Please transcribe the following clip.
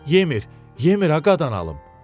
Yemir, yemir ə qadan alım.